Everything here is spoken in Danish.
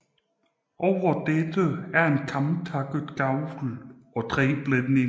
Over dette er en kamtakket gavl og tre blændinger